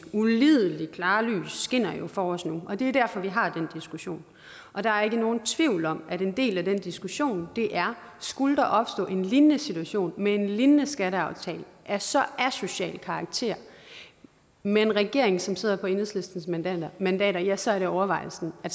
ulideligt klare lys skinner jo for os nu og det er derfor vi har den diskussion og der er ikke nogen tvivl om at en del af den diskussion er skulle der opstå en lignende situation med en lignende skatteaftale af så asocial en karakter med en regering som sidder på enhedslistens mandater mandater ja så er det overvejelsen at